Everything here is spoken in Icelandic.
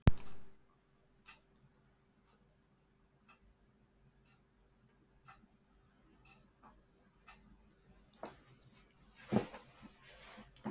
Um kvöldið sátu þau í kringum borðið í hlýju eldhúsinu.